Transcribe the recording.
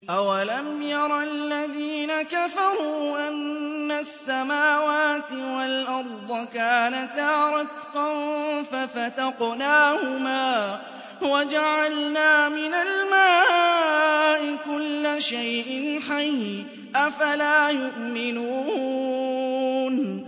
أَوَلَمْ يَرَ الَّذِينَ كَفَرُوا أَنَّ السَّمَاوَاتِ وَالْأَرْضَ كَانَتَا رَتْقًا فَفَتَقْنَاهُمَا ۖ وَجَعَلْنَا مِنَ الْمَاءِ كُلَّ شَيْءٍ حَيٍّ ۖ أَفَلَا يُؤْمِنُونَ